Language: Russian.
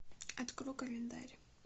открой календарь